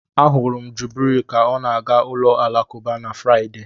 Ahụrụ m Jubril ka ọ na-aga ụlọ alakụba na Fraịde.